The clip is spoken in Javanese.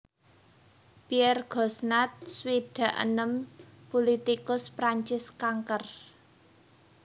Pierre Gosnat swidak enem pulitikus Prancis kanker